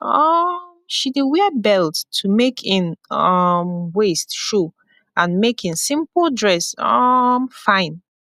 um she dey wear belt to make en um waist show and make en simpol dress um fine